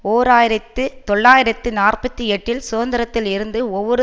ஓர் ஆயிரத்தி தொள்ளாயிரத்து நாற்பத்தி எட்டில் சுதந்திரத்தில் இருந்து ஒவ்வொரு